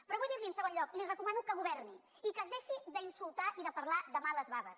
però vull dir li en segon lloc li recomano que governi i que es deixi d’insultar i de parlar de males baves